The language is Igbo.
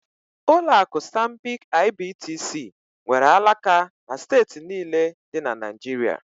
Ụlọ akụ Stanbic IBTC nwere alaka na steeti niile dị na Naịjirịa